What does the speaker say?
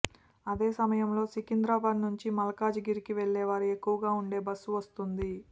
అదే సమయంలో సికింద్రాబాద్ నుంచి మల్కాజిగిరికి వెళ్లేవారు ఎక్కువగా ఉంటే బస్సు వస్తుంది